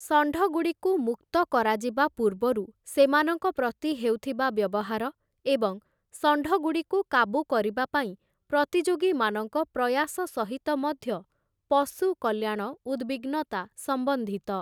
ଷଣ୍ଢଗୁଡ଼ିକୁ ମୁକ୍ତ କରାଯିବା ପୂର୍ବରୁ ସେମାନଙ୍କ ପ୍ରତି ହେଉଥିବା ବ୍ୟବହାର ଏବଂ ଷଣ୍ଢଗୁଡ଼ିକୁ କାବୁ କରିବାପାଇଁ ପ୍ରତିଯୋଗୀମାନଙ୍କ ପ୍ରୟାସ ସହିତ ମଧ୍ୟ ପଶୁ କଲ୍ୟାଣ ଉଦ୍‌ବିଗ୍ନତା ସମ୍ବନ୍ଧିତ ।